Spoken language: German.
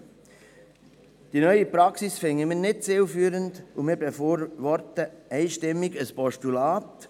Wir halten die neue Praxis nicht für zielführend und befürworten einstimmig ein Postulat.